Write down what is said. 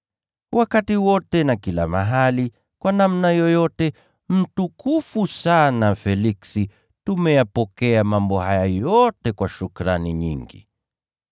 Wakati wote na kila mahali, kwa namna yoyote, mtukufu sana Feliksi, tumeyapokea mambo haya yote kwa shukrani nyingi.